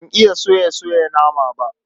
Ban iya soya soya nama ba.